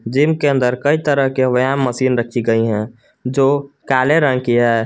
Gym के अंदर कई तरह के व्यायाम मशीन रखी गई है जो काले रंग की है।